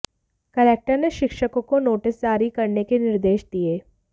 collector ने शिक्षकों को नोटिस जारी करने के निर्देश दिए